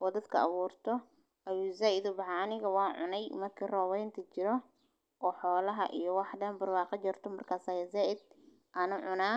oo dadka abuurto? Ayuu za'id u baxaanayaga waa cunay uma kiir roowaynta jiro oo xoolaha iyo wax dhan burbaka jarto markaa sae za'id aanu cunaa.